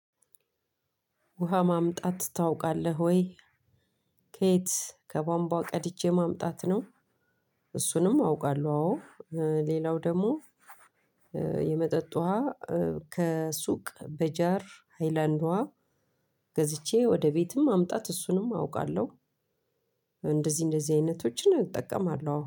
ውሃ ማምጣት ታውቃለህ ወይ ከየት ከቧንቧ ቀድቼ ማምጣት ነው? እሱንም አውቃለሁ አዎ ሌላው ደግሞ የመጠጥ ውሃ ከሱቅ በጃር ሃይላንድ ውሃ ገዝቼ ወደ ቤትም ማምጣት እሱንም አውቃለሁ እንደዚህ እንደዚህ አይነቶችን እጠቀማለሁ አዎ